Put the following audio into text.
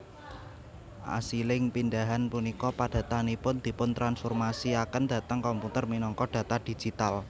Asiling pindahan punika padatanipun dipun transformasi aken dhateng komputer minangka data digital